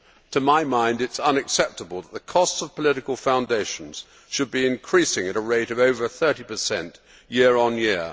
To my mind, it is unacceptable that the costs of political foundations should be increasing at a rate of over 30 year on year.